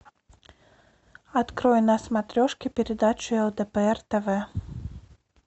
открой на смотрешке передачу лдпр тв